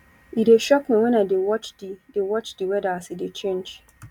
e dey shock me wen i dey watch di dey watch di weather as e dey change